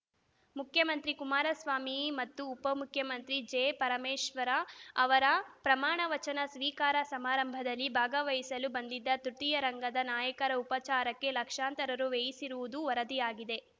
ಮುಖ್ಯಮಂತ್ರಿ ಕುಮಾರಸ್ವಾಮಿ ಮತ್ತು ಉಪ ಮುಖ್ಯಮಂತ್ರಿ ಜೆ ಪರಮೇಶ್ವರ್‌ ಅವರ ಪ್ರಮಾಣ ವಚನ ಸ್ವೀಕಾರ ಸಮಾರಂಭದಲ್ಲಿ ಭಾಗವಹಿಸಲು ಬಂದಿದ್ದ ತೃತೀಯ ರಂಗದ ನಾಯಕರ ಉಪಚಾರಕ್ಕೆ ಲಕ್ಷಾಂತರ ರುವ್ಯಯಿಸಿರುವುದು ವರದಿಯಾಗಿದೆ